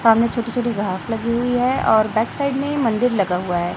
सामने छोटी छोटी घास लगी हुई है और बैक साइड में मंदिर लगा हुआ है।